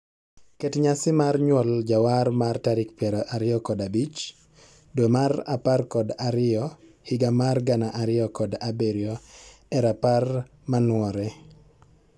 Ket nyasi mar nyuol jawar mar tarik piero ariyo kod abich dwe amr apar kod ariyo higa mar gana ariyo kod abirio e rapar manwore.